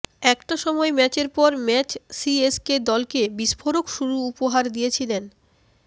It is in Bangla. একটা সময় ম্যাচের পর ম্যাচ সিএসকে দলকে বিস্ফোরক শুরু উপহার দিয়েছেন